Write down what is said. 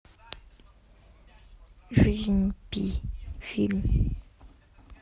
жизнь пи фильм